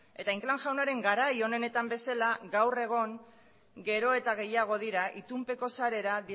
eta inclán jaunaren garai onenetan bezala gaur egon gero eta gehiago dira itunpeko sarera